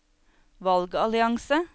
valgallianse